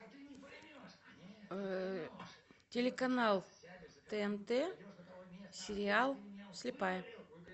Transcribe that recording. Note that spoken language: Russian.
телеканал тнт сериал слепая